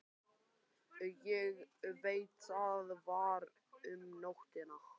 Ég veit það var um nóttina.